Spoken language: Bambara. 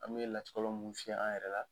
An bɛ latikɔlɔn mun fiyɛ an yɛrɛ la